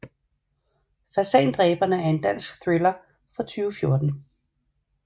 Fasandræberne er en dansk thriller fra 2014